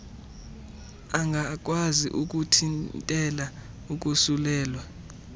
angakwazi ukuthintela ukosulelwa